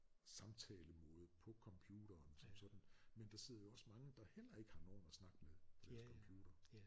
Samtalemåde på computeren som sådan men der sidder jo også mange der heller ikke har nogen at snakke med på deres computer